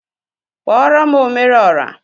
Kpọrọm omere ọra!